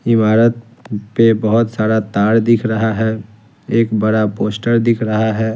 इमारत पे बहुत सारा तार दिख रहा है एक बड़ा पोस्टर दिख रहा है।